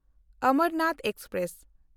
Amarnath express